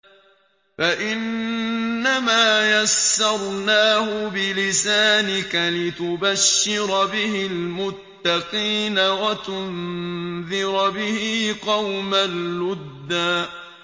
فَإِنَّمَا يَسَّرْنَاهُ بِلِسَانِكَ لِتُبَشِّرَ بِهِ الْمُتَّقِينَ وَتُنذِرَ بِهِ قَوْمًا لُّدًّا